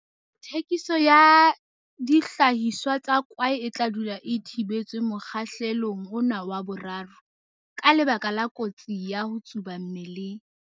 Thekiso ya dihlahiswa tsa kwae e tla dula e thibetswe mokgahlelong ona wa 3, ka lebaka la kotsi ya ho tsuba mmeleng.